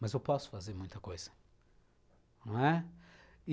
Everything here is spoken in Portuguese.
Mas eu posso fazer muita coisa, não é?